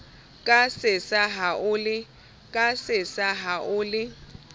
ka sesa ha o le